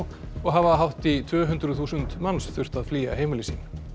og hafa hátt í tvö hundruð þúsund manns þurft að flýja heimili sín